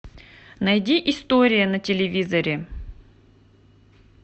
найди история на телевизоре